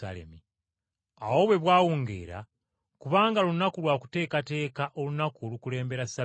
Awo bwe bwawungeera, kubanga lunaku lwa kuteekateeka, olunaku olukulembera Ssabbiiti,